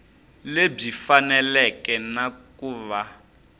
lebyi faneleke na ku va